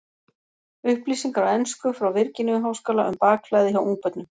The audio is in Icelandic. Upplýsingar á ensku frá Virginíu-háskóla um bakflæði hjá ungbörnum.